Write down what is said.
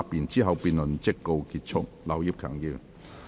之後辯論即告結束。